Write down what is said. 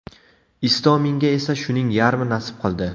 Istominga esa shuning yarmi nasib qildi.